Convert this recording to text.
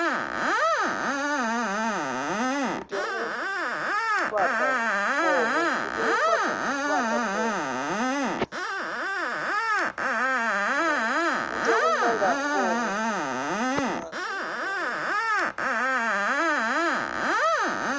u tea u ḓadza fomo